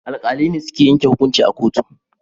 Alkalai ne suke yanke hukunci a kotu